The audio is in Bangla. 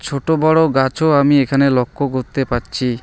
ছোট বড় গাছও আমি এখানে লক্ষ করতে পাচ্ছি।